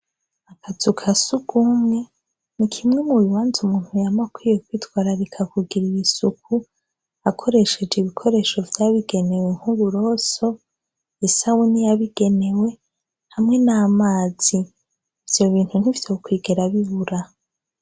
Akazuka sugumwe ni kimwe mu bibanze umuntu ya makwiye kwitwara rikakugira isuku akoresheje ibikoresho vyabigenewe nk'uburoso isawuni yabigenewe hamwe n'amazi, ivyo bintu ntifite kukwigera bibura.